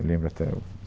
Eu lembro até o...